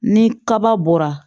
Ni kaba bɔra